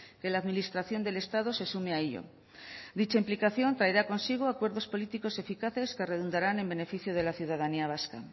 que la administración del estado se sume a ello dicha implicación traerá consigo acuerdos políticos eficaces que redundarán en beneficio de la ciudadanía vasca